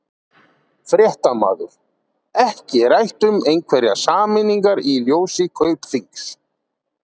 Fréttamaður: Ekki rætt um einhverjar sameiningar í ljósi Kaupþings?